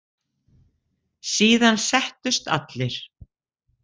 Síðan settust allir.